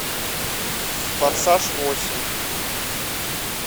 форсаж восемь